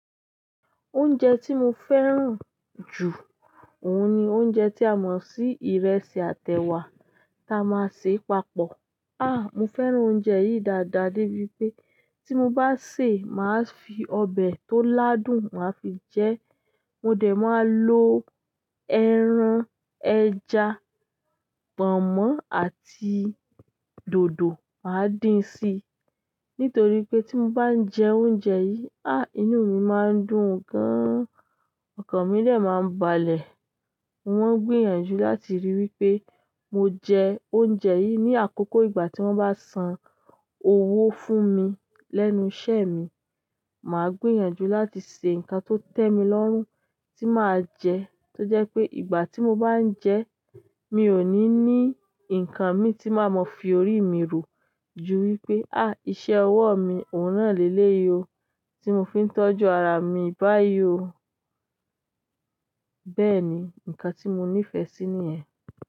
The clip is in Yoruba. Oúnjẹ tí mo fẹ́ràn jù, òun ni oúnjẹ tí a mọ̀ sí ìrẹsì àtèwà ta máa ń ṣe papọ̀. Ah! Mo fẹ́ràn oúnjẹ yìí dáadáa débi pé tí mo bá sè é, màá fi ọbẹ̀ tó ládùn màá fi jẹ ẹ́. Mo dẹ̀ máa lo ẹran, ẹja, pọ̀nmọ́ àti dòdò màá dín sí i. Nítorí pé tí mo bá ń jẹ oúnjẹ yìí, ah! Inú mi máa ń dùn gan-an, ọkàn mi lè máa ń balẹ̀. Mo n gbìyànjú láti rí i wípé mo jẹ oúnjẹ yìí ní àkókò ìgbà tí wọ́n bá san owó fún mi lẹ́nu iṣẹ́ mi. Màá gbìyànjú láti ṣe nǹkan tó tẹ́ mi lọ́rùn tí màá jẹ ẹ́ tó jẹ́ pé ìgbà tí mo bá ń jẹ ẹ́, mi ò ní ní nǹkan mi tí màá mọ fi orí mi ro ju wípé, ah! Iṣẹ́ ọwọ́ mi òún na lé lé yi o tí mo fi ń tọ́jú ara mi báyìí o. Bẹ́ẹ̀ni, nǹkan tí mo nífẹ̀ẹ́ sí ni yen.